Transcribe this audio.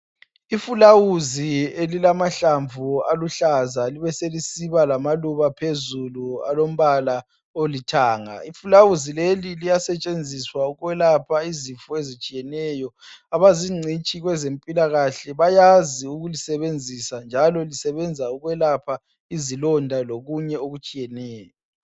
Ifulawuzi elilamahlamvu aluhlaza libe selisiba lamaluba phezulu alombala olithanga. lfulawuzi leli liyasetshenziswa ukwelapha izifo ezitshiyeneyo. Abazincitshi kwezempilakahle bayazi ukulisebensisa njalo lisebenza ukwelapha izilonda lokunye okutshiyeneyo.